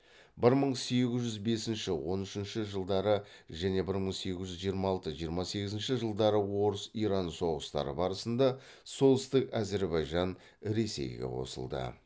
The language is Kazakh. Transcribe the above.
бір мың сегіз жүз бесінші он үшінші жылдары және бір мың сегіз жүз жиырма алтыншы жиырма сегізінші жылдары орыс иран соғыстары барысында солтүстік әзірбайжан ресейге қосылды